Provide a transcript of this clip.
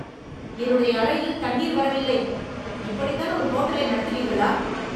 என்னுடைய அறையில் தண்ணீர் வரவில்லை! இப்படித்தான் ஒரு ஹோட்டலை நடத்துவீர்களா?